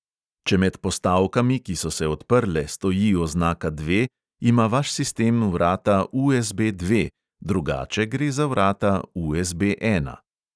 Če med postavkami, ki so se odprle, stoji oznaka dve, ima vaš sistem vrata USB dve, drugače gre za vrata USB ena.